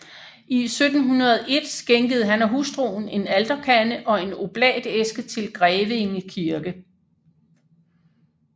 I 1701 skænkede han og hustruen en alterkande og en oblatæske til Grevinge Kirke